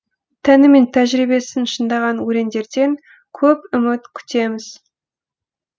тәні мен тәжірибесін шыңдаған өрендерден көп үміт күтеміз